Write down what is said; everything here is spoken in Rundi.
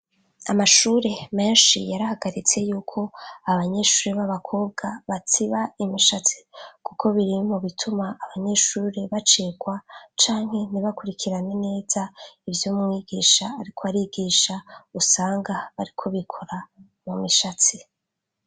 Amashure menshi yarahagaritse yuko abanyeshuri b'abakobwa batsiba imishatsi, kuko biri mu bituma abanyeshuri bacikwa canke ntibakurikirane neza ivyo mwigisha ariko arigisha, usanga bariko bikora mu mishatsi.